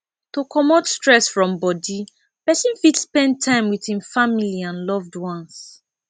to comot stress from body person fit spend time with im family and loved ones